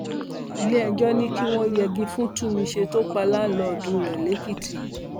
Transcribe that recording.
iléẹjọ ní kí wọn yẹgi fún túnmíṣe tó pa láńdìdì rẹ lẹkìtì